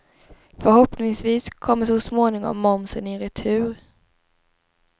Förhoppningsvis kommer så småningom momsen i retur.